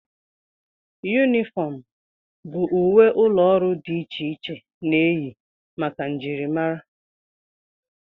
Yunifọm bụ uwe ụlọọrụ dị iche iche na-eyi maka njirimara